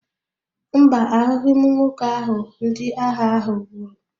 Mba, ahụghị m nwoke ahụ ndị agha ahụ gburu.